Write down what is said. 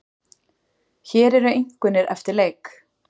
Hér eru einkunnir eftir leik.